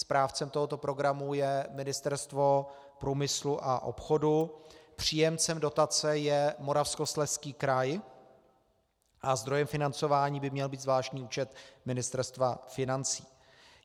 Správcem tohoto programu je Ministerstvo průmyslu a obchodu, příjemcem dotace je Moravskoslezský kraj a zdrojem financování by měl být zvláštní účet Ministerstva financí.